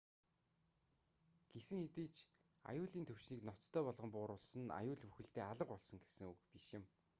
гэсэн хэдий ч аюулын түвшнийг ноцтой болгон бууруулсан нь аюул бүхэлдээ алга болсон гэсэн үг биш юм